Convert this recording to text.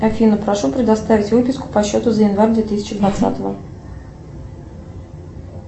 афина прошу предоставить выписку по счету за январь две тысячи двадцатого